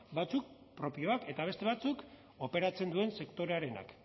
batzuk propioak eta beste batzuk operatzen duen sektorearenak